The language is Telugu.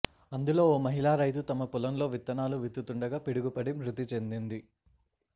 అందులో ఓ మహిళా రైతు తమ పొలంలో విత్తనాలు విత్తుతుండగా పిడుగుపడి మృతి చెందింది